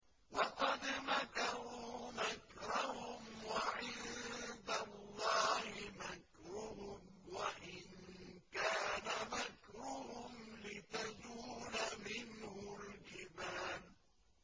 وَقَدْ مَكَرُوا مَكْرَهُمْ وَعِندَ اللَّهِ مَكْرُهُمْ وَإِن كَانَ مَكْرُهُمْ لِتَزُولَ مِنْهُ الْجِبَالُ